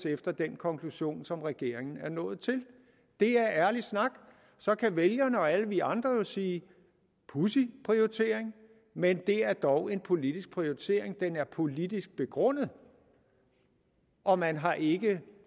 efter den konklusion som regeringen er nået til det er ærlig snak så kan vælgerne og alle vi andre jo sige pudsig prioritering men det er dog en politisk prioritering den er politisk begrundet og man har ikke